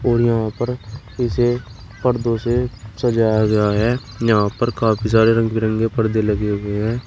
और यहां पर इसे पर्दों से सजाया गया है। यहां पर काफी सारे रंग बिरंगे पर्दे लगे हुए हैं।